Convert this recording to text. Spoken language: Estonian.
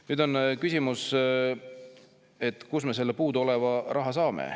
Nüüd on küsimus, kust me selle puuduoleva raha saame.